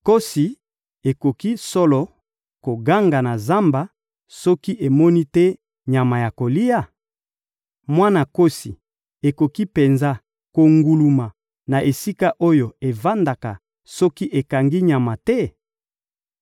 Nkosi ekoki solo koganga na zamba soki emoni te nyama ya kolia? Mwana nkosi ekoki penza konguluma na esika oyo evandaka soki ekangi nyama te?